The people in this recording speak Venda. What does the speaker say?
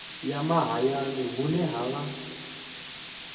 ya mahayani hune ha vha